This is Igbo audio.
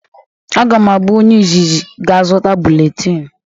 A ga m abụ onye izizi ga-azuta bụletin